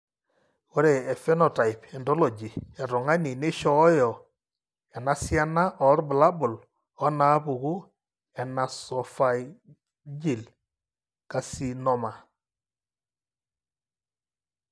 Ore ephenotype ontology etung'ani neishooyo enasiana oorbulabul onaapuku eNasopharyngeal carcinoma.